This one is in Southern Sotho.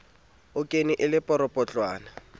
a kwenne e le poropotlwana